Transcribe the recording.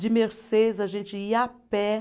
de mercês, a gente ia a pé.